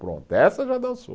Pronto, essa já dançou.